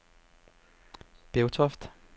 Bevtoft